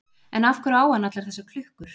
En af hverju á hann allar þessar klukkur?